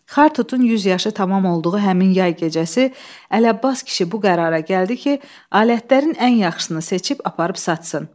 Xartutun 100 yaşı tamam olduğu həmin yay gecəsi Ələbbas kişi bu qərara gəldi ki, alətlərin ən yaxşısını seçib aparıb satsın.